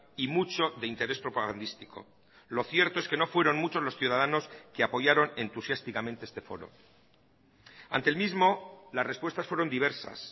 y mucho de interés propagandístico lo cierto es que no fueron muchos los ciudadanos que apoyaron entusiásticamente este foro ante el mismo las respuestas fueron diversas